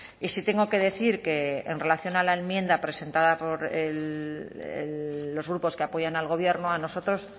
y sí tengo que decir que en relación a la enmienda presentada por los grupos que apoyan al gobierno a nosotros